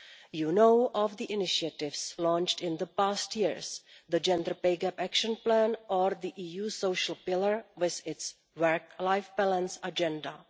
You know of the initiatives launched in the past years the gender pay gap action plan or the EU social pillar, with its work life balance agenda.